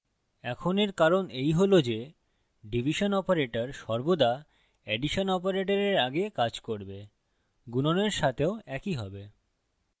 এখন এর কারণ এই হল যে division বিভাগ operator সর্বদা এডিশন operator আগে কাজ করবে গুণনের সাথেও একই হয়